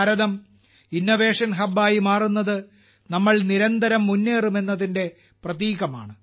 ഭാരതം innovation ഹബ്ബായി മാറുന്നത് നമ്മൾ നിരന്തരം മുന്നേറും എന്നതിന്റെ പ്രതീകമാണ്